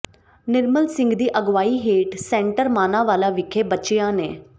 ਨਿਰਮਲ ਸਿੰਘ ਦੀ ਅਗਵਾਈ ਹੇਠ ਸੈਂਟਰ ਮਾਨਾਂਵਾਲਾ ਵਿਖੇ ਬੱਚਿਆਂ ਨ